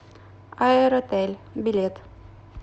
аэротель билет